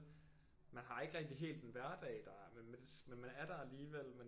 Man har ikke rigtig helt en hverdag der men man er der alligevel